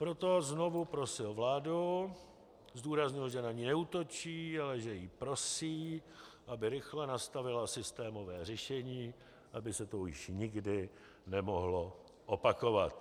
Proto znovu prosil vládu, zdůraznil, že na ni neútočí, ale že ji prosí, aby rychle nastavila systémové řešení, aby se to už nikdy nemohlo opakovat.